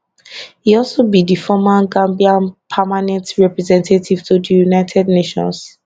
e also be di former gambian permanent representative to di united nations